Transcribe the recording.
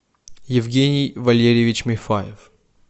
евгений валерьевич мифаев